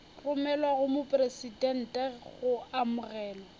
romelwa go mopresidente go amogelwa